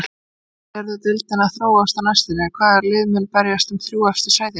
Hvernig sérðu deildina þróast á næstunni, hvaða lið munu berjast um efstu þrjú sætin?